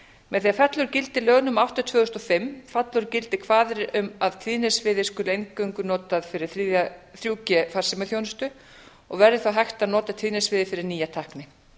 með því að fella úr gildi lög númer átta tvö þúsund og fimm falla úr gildi kvaðir um að tíðnisviðið skuli eingöngu notað fyrir þrjú g farsímaþjónustu og verði þá hægt að nota tíðnisviðið fyrir nýja tækni